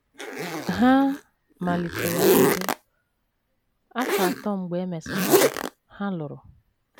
Ha malitere mbedo, afọ atọ mgbe e mesịkwara, ha lụrụ.